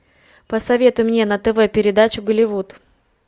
посоветуй мне на тв передачу голливуд